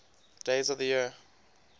days of the year